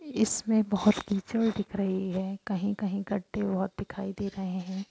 इसमें बोहोत कीचड़ दिख रही हैं कही कही गद्दे और दिखाई दे रहे हैं।